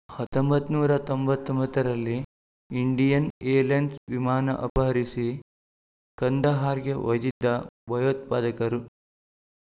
ಹತೋಬಾತ್ತನೂರ ತೊಂಬತ್ತ್ ಒಂಬತ್ತರಲ್ಲಿ Indian airlines ವಿಮಾನ ಅಪಹರಿಸಿ ಕಂದಹಾರ್‌ಗೆ ಒಯ್ದಿದ್ದ ಭಯೋತ್ಪಾದಕರು